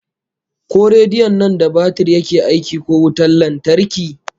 Ko rediyon nan da batir yake aiki ko wutan lantarki?